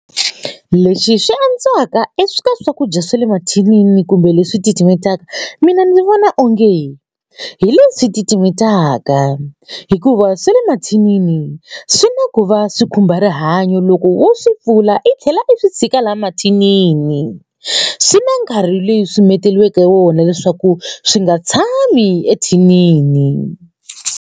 Leswi swi antswaka swakudya swa le mathinini kumbe leswi titimetaka mina ndzi vona onge hi leswi titimetaka hikuva swe le mathinini swi na ku va swi khumba rihanyo loko wo swi pfula i tlhela i swi tshika la mathinini swi na nkarhi leswi swi menteriweke wona leswaku swi nga tshami ethinini.